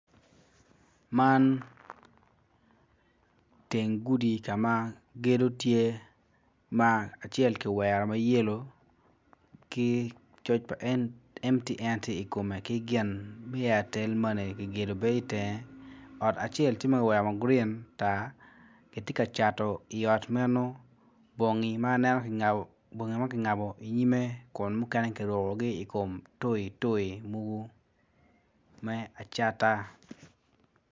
Man, teng gudi ka ma gedo tye ma acel kiwero ma yelo ki coc pa MTN tye ikome ki gin me Airtel money bene tye i tenge. Ot acel tye ma kiwero ma grin ma tar ki tye ka cato bongi ma kingatbo i nyime.